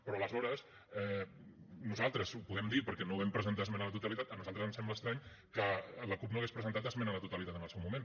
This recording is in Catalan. però aleshores nosaltres ho podem dir perquè no vam presentar esmena a la totalitat a nosaltres ens sembla estrany que la cup no hagués presentat esmena a la totalitat en el seu moment